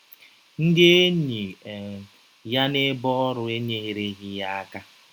Ndị enyi um ya n’ebe ọrụ enyereghị ya aka.